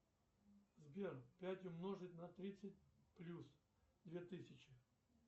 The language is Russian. сбер пять умножить на тридцать плюс две тысячи